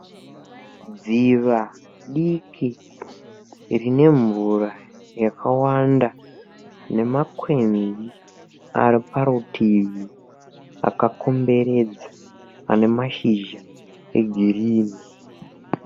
Dziva diki rine mvura yakawanda nemakwenzi ari parutivi akakomberedza ane mashizha egirinhi.